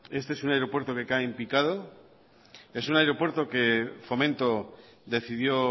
este es un aeropuerto que cae en picado es un aeropuerto que fomento decidió